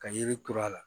Ka yiri turu a la